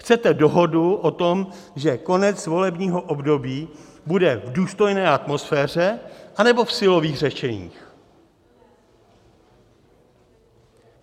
Chcete dohodu o tom, že konec volebního období bude v důstojné atmosféře, anebo v silových řešeních?